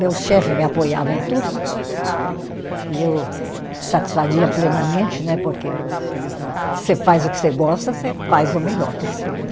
Meu chefe me apoiava em tudo e eu satisfazia plenamente né, porque você faz o que você gosta, você faz o melhor possível.